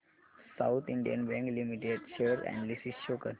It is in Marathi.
south Indian Bank Limited share analysis show कर